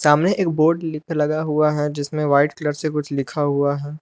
सामने एक बोर्ड भी लिख के लगा हुआ है जिसमें व्हाइट कलर से कुछ लिखा हुआ है।